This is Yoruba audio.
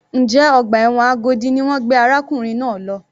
Njẹ́ ọgbà ẹ̀wọ̀n Agodi ni wọ́n gbé arákùnrin náà lọ?